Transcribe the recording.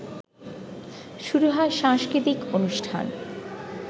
শুরু হয় সাংস্কৃতিক অনুষ্ঠান